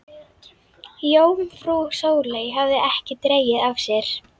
Jómfrú Sóley hafði ekki dregið af sér.